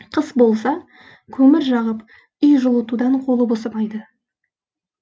қыс болса көмір жағып үй жылытудан қолы босамайды